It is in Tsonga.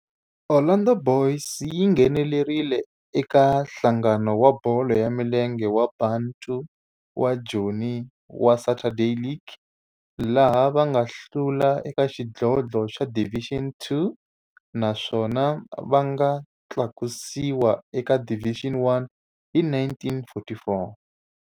Orlando Boys yi nghenelerile eka Nhlangano wa Bolo ya Milenge wa Bantu wa Joni wa Saturday League, laha va nga hlula eka xidlodlo xa Division Two naswona va nga tlakusiwa eka Division One hi 1944.